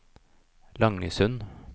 Langesund